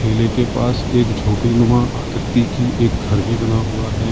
किले के पास एक झोपड़ी नुमा आकृति की एक घर भी बना हुआ है।